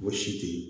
Ko si te yen